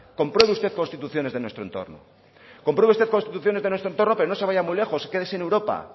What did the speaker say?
compruebe usted constituciones de nuestro entorno compruebe constituciones de nuestro entorno pero no se vaya muy lejos quédese en europa